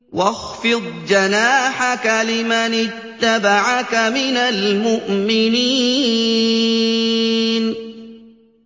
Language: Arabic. وَاخْفِضْ جَنَاحَكَ لِمَنِ اتَّبَعَكَ مِنَ الْمُؤْمِنِينَ